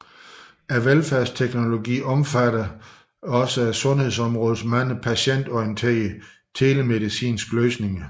Velfærdsteknologien omfatter således sundhedsområdets mange patientorienterede telemedicinske løsninger